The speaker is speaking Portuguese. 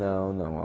Não, não.